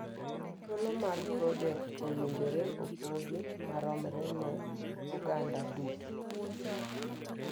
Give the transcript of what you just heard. Thuolo mag projekt owinjore opogi maromre ne oganda duto